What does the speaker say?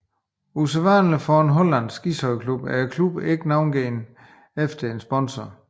Usædvanligvis for en hollandsk ishockeyklub er klubben ikke navngivet efter en sponsor